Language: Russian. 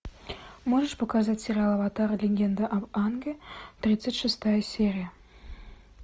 можешь показать сериал аватар легенда об аанге тридцать шестая серия